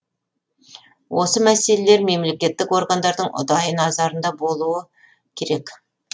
осы мәселелер мемлекеттік органдардың ұдайы назарында болуы керек